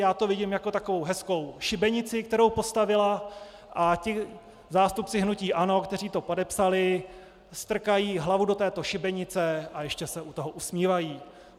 Já to vidím jako takovou hezkou šibenici, kterou postavila, a ti zástupci hnutí ANO, kteří to podepsali, strkají hlavu do této šibenice a ještě se u toho usmívají.